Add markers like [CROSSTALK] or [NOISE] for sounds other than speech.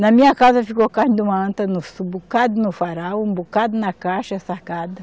Na minha casa ficou carne de uma anta, [UNINTELLIGIBLE] um bocado no farol, um bocado na caixa, salgada.